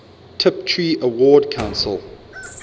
tiptree award council